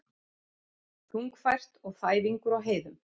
Þungfært og þæfingur á heiðum